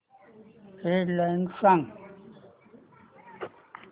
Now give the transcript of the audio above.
head lines सांग